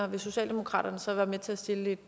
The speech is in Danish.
vil socialdemokratiet så være med til at stille